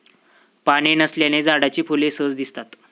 पाने नसल्याने झाडाची फुले सहज दिसतात.